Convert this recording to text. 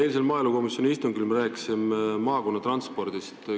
Eilsel maaelukomisjoni istungil me rääkisime maakonnatranspordist.